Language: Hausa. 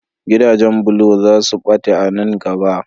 Gidajen bulo za su ɓata a nan gaba.